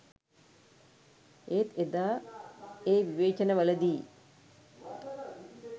ඒත් එදා ඒ විවේචන වලදී